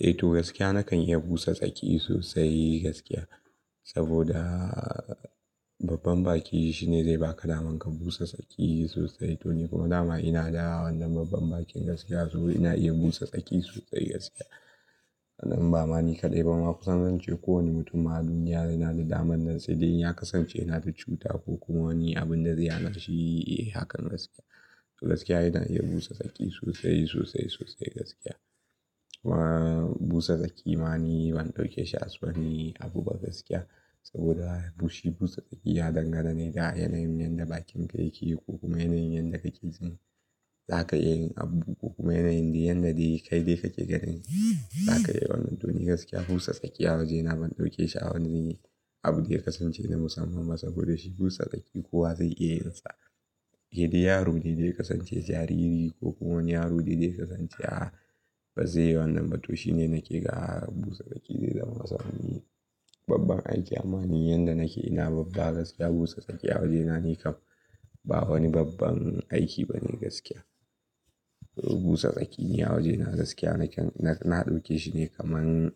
Eh to gaskiya nakan iya busa tsaki sosai gaskiya. Saboda babban baki shine zai baka daman ka busa tsaki sosai. To ni kuma dama ina da wannan babban bakin gaskiya saboda ina iya busa tsaki sosai gaskiya. Nan ba mani kaɗai ba, ma kusan zance kowane mutum a duniya yana da daman nan. Sai dai in ya kasance yana da cuta ko kuma wani abin da zai hanashi, yi hakan gaskiya. To gaskiya ina iya busa tsaki sosai, sosai, sosai gaskiya. Busa tsaki ma ni ban ɗauke shi as wani abu ba gaskiya. Saboda bushi busa tsaki ya dangana ne da yanayin yadda bakin ka yake ko kuma yanayin yadda kake jin. Za ka iya yin abu ko kuma yanayin da yadda dai kai dai kake ganin. Za ka iya wannan. To ni gaskiya busa tsaki a waje ina ban ɗauke shi a wani abin da ya kasance na musamman ba. Saboda shi busa tsaki kowa zai iya yin sa. Keda yaro ne dai kasance jariri ko kuma wani yaro dai dai kasance a, bazai yi wannan ba to shine naƙe ga busa tsaki zai zama musa wani babban aiki. Ma ni yadda nake ina babba gaskiya busa tsaki a waje na ne kam ba wani babban aiki bane gaskiya. Busa tsaki ne a waje na gaskiya nakan-- na ɗauke shi ne kamar,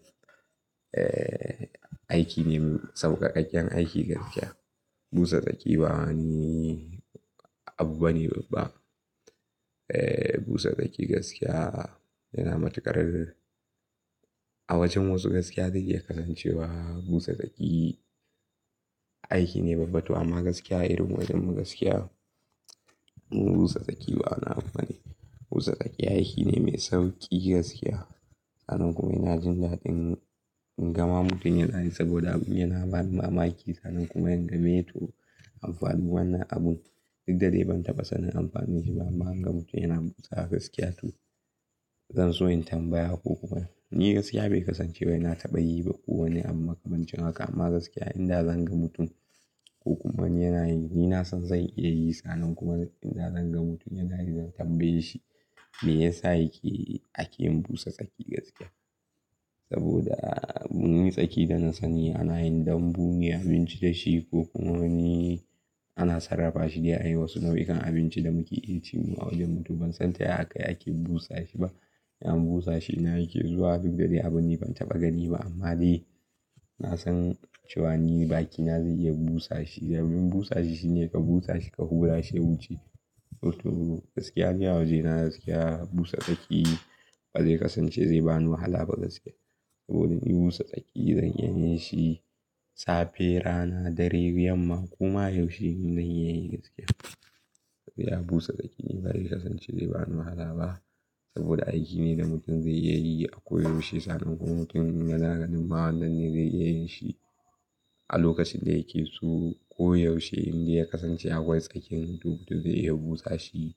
eh aikine sauƙaƙaƙƙen aiki gaskiya. Busa tsaki ba wani abu bane babba. Eh busa tsaki gaskiya yana matuƙar a wajen wasu gaskiya zai iya kasancewa busa tsaki aiki ne babba. Amma gaskiya irin wajenmu gaskiya busa tsaki ba abu bane. Busa tsaki aiki ne mai sauƙi gaskiya. Sannan kuma yana jin daɗin gama mutum yana yi saboda yana bani mamaki. Sannan kuma in ga meye to amfanin wannan abun duk da dai ban taɓa sanin amfanin shi ba. Amma an gama mutum yana busa gaskiya to zan so in tambaya ko kuma ni gaskiya bai kasance wai na taɓa yi ba ko wane. Amma kamar ji haka amma gaskiya idan zan ga mutum ko kuma yana yi ni na san zan iya yi. Sannan kuma idan zan ga mutum yana yi zan tambaye shi me yasa yake ake yin busa tsaki gaskiya. Saboda mun yi tsaki da na sani ana yin dambu ne abinci da shi ko kuma wani ana sarrafa shi dai a yi wasu nau'ikan abinci da muke yi ci mu a wajen mutum. Ban san taya haka yake busa shi ba. Am busa shi na yake zuwa duk da dai abun ni ban taɓa gani ba. Amma dai na san cewan ni bakina zai iya busa shi. Sabbin busa shi shine ka busa shi ka hura shi ya wuce. To, to gaskiya ne a waje na gaskiya busa tsaki bazai kasance zai bani wahala ba gaskiya. Saboda ni busa tsaki zan iya yin shi safe, rana, dare, yamma kuma yaushe zan iya yin gaskiya. Ya busa tsaki ne bai kasance zai bani wahala ba saboda aiki ne da mutum zai iya yi a ko yaushe. Sannan kuma mutum yana ganin ma wannan ne zai iya yin shi a lokacin da yake so ko yaushe inda ya kasance akwai tsakin duk da zai iya busa shi.